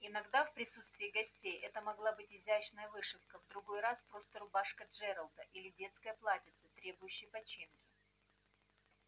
иногда в присутствии гостей это могла быть изящная вышивка в другой раз просто рубашка джералда или детское платьице требующее починки